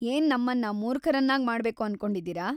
ಏನ್ ನಮ್ಮನ್ನ ಮೂರ್ಖರನ್ನಾಗ್‌ ಮಾಡ್ಬೇಕು ಅನ್ಕೊಂಡಿದಿರಾ?